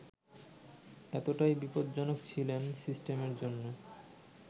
এতটাই বিপজ্জনক ছিলেন সিস্টেমের জন্য